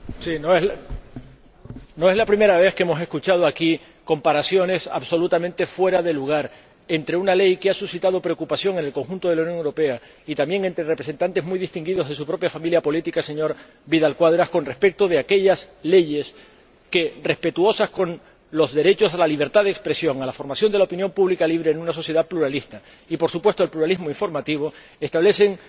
Señora Presidenta, no es la primera vez que hemos escuchado aquí comparaciones absolutamente fuera de lugar entre una ley que ha suscitado preocupación en el conjunto de la Unión Europea y también entre representantes muy distinguidos de su propia familia política, señor Vidal Quadras, y aquellas leyes que, respetuosas con los derechos a la libertad de expresión, a la formación de la opinión pública libre en una sociedad pluralista y, por supuesto, al pluralismo informativo, establecen